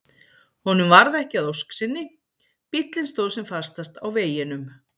Honum varð ekki að ósk sinni, bíllinn stóð sem fastast á veginum.